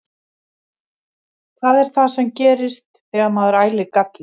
Hvað er það sem gerist þegar maður ælir galli?